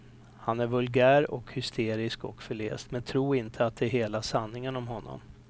Han är vulgär och hysterisk och förläst, men tro inte att det är hela sanningen om honom.